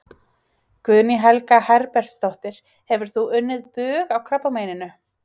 Guðný Helga Herbertsdóttir: Hefur þú unnið bug á krabbameininu?